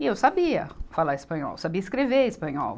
E eu sabia falar espanhol, sabia escrever espanhol.